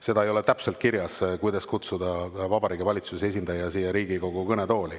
See ei ole täpselt kirjas, millal kutsuda Vabariigi Valitsuse esindaja siia Riigikogu kõnetooli.